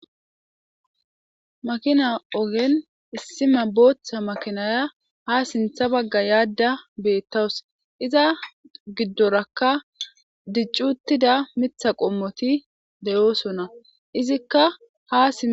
Makina ogen issi Bootha makinaya ha sintha Baga yada beetawusi, iza gidoraka dici utida mtha qomot de'osona, izika ha sim..